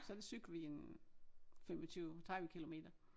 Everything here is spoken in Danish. Så der cykler vi en 25 30 kilometer